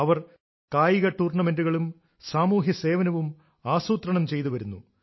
അവർ കായിക ടൂർണമെന്റുകളും സാമൂഹ്യ സേവനവും ആസൂത്രണം ചെയ്തു വരുന്നു